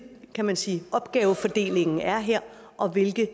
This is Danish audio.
kan man sige opgavefordelingen er her og hvilket